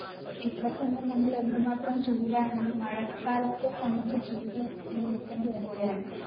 ഇപ്പ തന്നെ നമ്മൾ എന്ത് മാത്രം ചൂടാണ് ഈ മഴക്കാലത്തും നമുക്ക് ചൂട് അനുഭവിക്കേണ്ടി വരുകയാണ്.